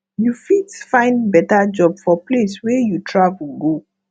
you fit find better job for place wey you travel go